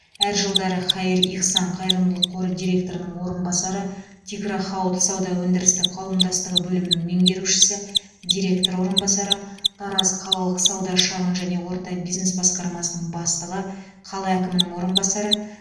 әр жылдары хаир ихсан қайырымдылық қоры директорының орынбасары тигро хауд сауда өндірістік қауымдастығы бөлімінің меңгерушісі директор орынбасары тараз қалалық сауда шағын және орта бизнес басқармасының бастығы қала әкімінің орынбасары